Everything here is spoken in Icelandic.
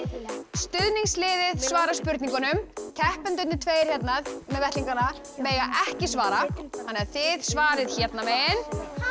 stuðningsliðið svarar spurningunum keppendurnir tveir hérna með vettlingana mega ekki svara þannig að þið svarið hérna megin